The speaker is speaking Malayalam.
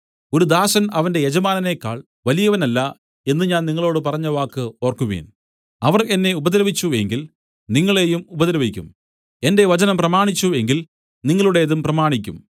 ഒരു ദാസൻ അവന്റെ യജമാനനേക്കാൾ വലിയവനല്ല എന്നു ഞാൻ നിങ്ങളോടു പറഞ്ഞവാക്ക് ഓർക്കുവിൻ അവർ എന്നെ ഉപദ്രവിച്ചു എങ്കിൽ നിങ്ങളെയും ഉപദ്രവിക്കും എന്റെ വചനം പ്രമാണിച്ചു എങ്കിൽ നിങ്ങളുടേതും പ്രമാണിക്കും